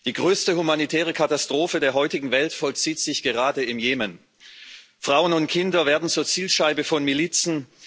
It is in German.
Die größte humanitäre Katastrophe der heutigen Welt vollzieht sich gerade im Jemen Frauen und Kinder werden zur Zielscheibe von Milizen.